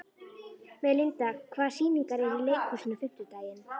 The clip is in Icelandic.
Melinda, hvaða sýningar eru í leikhúsinu á fimmtudaginn?